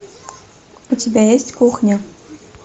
у тебя есть кухня